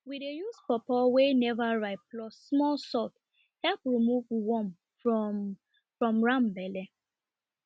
we dey use pawpaw wey never ripe plus small salt help remove worm from from ram belle